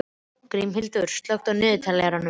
Grímhildur, slökktu á niðurteljaranum.